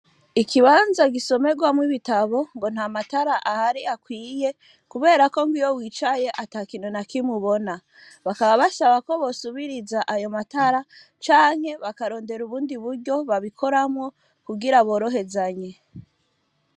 Ikibanza gisomerwamwo ibitabo ngo ntamatara ahari akwiye kubera ko iyo wicaye atakintu na kimwe ubona. Bakaba basaba ko bosubiriza ayo matara canke bakarondera ubundi buryo babikoramwo kugira borohezanye.